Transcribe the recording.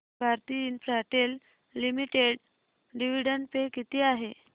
Bharti Infratel limited dividend pay किती आहे